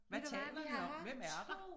Hvad taler de om hvem er de